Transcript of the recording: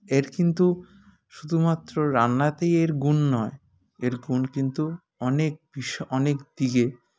এর কিন্তু শুধুমাত্র রান্নাতেই এর গুন নয় এর গুন কিন্তু অনেক বিশ অনেক দিগে